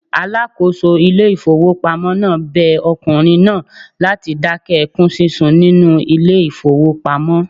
Alákòóso ilé ìfowópamọ́ náà bẹ ọkùnrin náà láti dákẹ́ ẹkún sísun nínú ilé ìfowópamọ́.